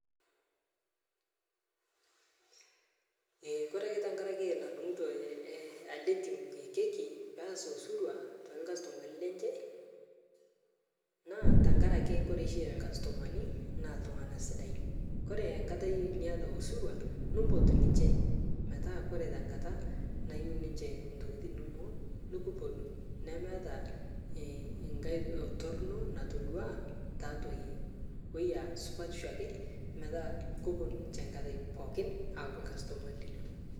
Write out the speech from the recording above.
Ee ore ake tenkaraki nadungito ele team keki peas osirua too customani lenche naa tenkaraki kore oshi customani naa ltungana sidain ore enkata niata osirua nimpot ninche metaa koree tenkata nayieu ninche ntokitin inonok nikipuonu nemeeta enkai toroni natodua tiatua yie supatisho ake metaa kepuonu ninche nkata pookin aa customani linyi